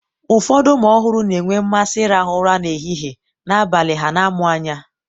ụfọdụ ụmụ ọhụrụ na-enwe mmasị ịrahụ ụra n'ehihie, n'abalị ha na-amụ anya.